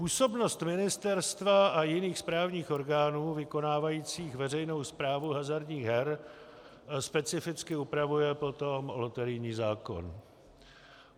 Působnost ministerstva a jiných správních orgánů vykonávajících veřejnou správu hazardních her specificky upravuje potom loterijní zákon.